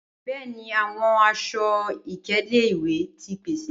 Bẹẹni, awọn aṣọ-ikele iwẹ ti pese.